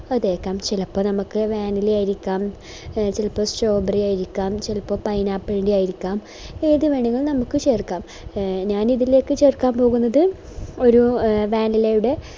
ക്കാൻ ചെലപ്പോൾ നമുക്ക് vanilla ആയിരിക്കാം എ ചെലപ്പോൾ strawberry ആയിരിക്കാം ചെലപ്പോ pineapple ൻറെ ആയിരിക്കാം ഏതു വേണെങ്കിലും നമുക്ക് ചേർക്കാം ഞാനിതിലേക്ക് ചേർക്കാൻ പോകുന്നത് ഒരു vanilla യുടെ